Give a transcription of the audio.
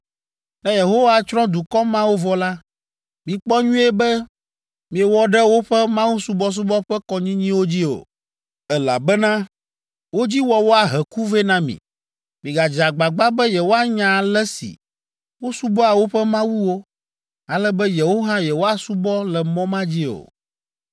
Ne Yehowa tsrɔ̃ dukɔ mawo vɔ la, mikpɔ nyuie be miewɔ ɖe woƒe mawusubɔsubɔ ƒe kɔnyinyiwo dzi o, elabena wo dzi wɔwɔ ahe ku vɛ na mi. Migadze agbagba be yewoanya ale si wosubɔa woƒe mawuwo, ale be yewo hã yewoasubɔ le mɔ ma dzi o.